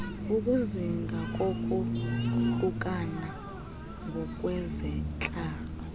ukuzinga kokohlukana ngokwezentlalo